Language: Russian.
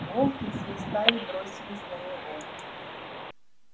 волки всей стаей бросились на него